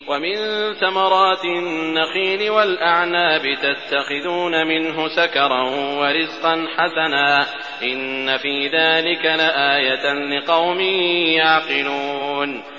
وَمِن ثَمَرَاتِ النَّخِيلِ وَالْأَعْنَابِ تَتَّخِذُونَ مِنْهُ سَكَرًا وَرِزْقًا حَسَنًا ۗ إِنَّ فِي ذَٰلِكَ لَآيَةً لِّقَوْمٍ يَعْقِلُونَ